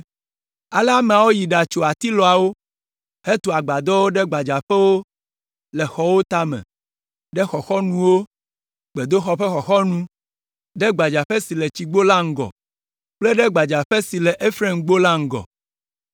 Ale ameawo yi ɖatso atilɔawo hetu agbadɔwo ɖe gbadzaƒewo le xɔwo tame, ɖe xɔxɔnuwo, gbedoxɔ ƒe xɔxɔnu, ɖe gbadzaƒe si le Tsigbo la ŋgɔ kple ɖe gbadzaƒe si le Efraimgbo la ŋgɔ.